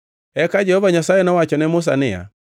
Eka Jehova Nyasaye nowacho ne Musa niya,